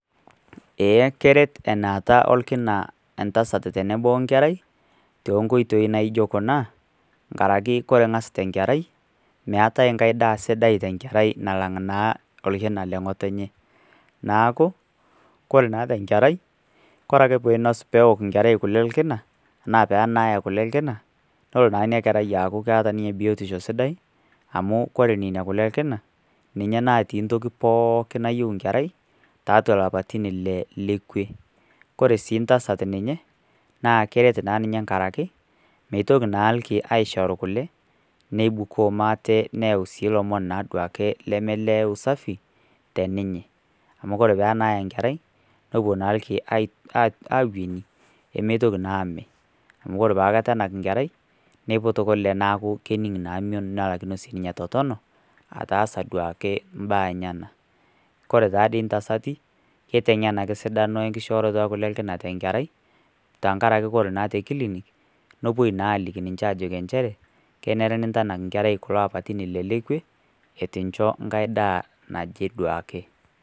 Eeh, keret enaata olkina entasat tenebo we enkerai, too inkoitoi naijo kuna, enkaraki kore enakita enkerai, meatai inkai daa sidai te enkerai nalang' naa olkina le ng'otonye. Neaku ore naa te enkerai, kore ake pee einos peok enkerai kule olkina anaa pee enak kule olkina, nelo naa ina kerai aaku keata ninyebiotisho sidai, amu kore neina kule olkina, ninye natii pooki nayou inkerai , tiatua ilapaitin ile lekwe. Kore sii intasat ninye, naa keret naa ninye enkara ake, meitoki naa ilki aishoru kule, neibukoo maata neyau naa ilomon naa duo ake lemee le usafi te ninye, amu ore pee enaaya enkerai, nepuo naa ilki awueni emeitoki naa ame, amu pee eitu aikata enak enkerai neiput naa kule nening' naa mion nelakino naa sininye atotonu, nelakino naa ataasa duake imbaa enyenaa. Kore taa dei intasati , keiteng'en ake esidano enkishooroto olkina tenkerai tenkara ake ore te kilinik, nepuoi aliki naa ninche aliki enchere, kenare niintanak enkerai kulo apaitin ile le kwe eitu incho endaa naje duo ake.